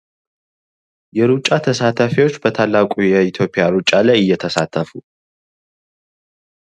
የሩጫ ተሳታፊዎች በታላቁ የኢትዮጵያ እየተሳተፉ።